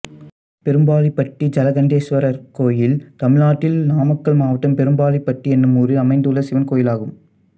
பெரும்பாளிப்பட்டி ஜலகண்டேஸ்வரர் கோயில் தமிழ்நாட்டில் நாமக்கல் மாவட்டம் பெரும்பாளிப்பட்டி என்னும் ஊரில் அமைந்துள்ள சிவன் கோயிலாகும்